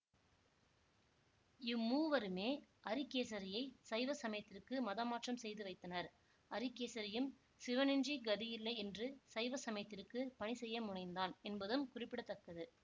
இம்மூவருமே அரிகேசரியைச் சைவ சமயத்திற்கு மதமாற்றம் செய்து வைத்தனர் அரிகேசரியும் சிவனின்றி கதியில்லை என்று சைவ சமயத்திற்கு பணி செய்ய முனைந்தான் என்பதும் குறிப்பிட தக்கது